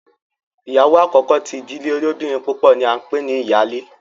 ìyàwó àkókò tí ìdílé olobinrin púpọ ní a npè ní iyale.